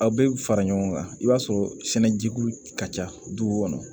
Aw bɛ fara ɲɔgɔn kan i b'a sɔrɔ sɛnɛ jugu ka ca dugu kɔnɔ